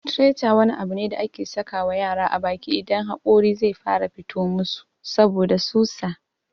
"Theeter" wani abu ne da ake saka wa yara a baki idan haƙori zai fara fito musu saboda susa.